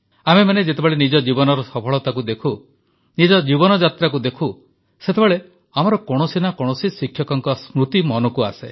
ଆମେମାନେ ଯେତେବେଳେ ନିଜ ଜୀବନର ସଫଳତାକୁ ଦେଖୁ ନିଜ ଜୀବନଯାତ୍ରାକୁ ଦେଖୁ ସେତେବେଳେ ଆମର କୌଣସି ନା କୌଣସି ଶିକ୍ଷକଙ୍କ ସ୍ମୃତି ମନକୁ ଆସେ